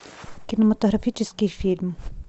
кинематографический фильм